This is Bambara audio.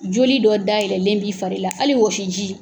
Joli dɔ dayɛlɛlen b'i fari la hali wɔsiji